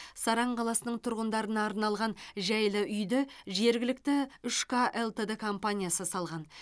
саран қаласының тұғындарына арналған жайлы үйді жергілікті үш к лтд компаниясы салған